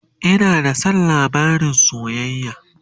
Ina da San labarin soyayya